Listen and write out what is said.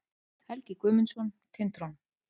Helgi Guðmundsson, Tintron.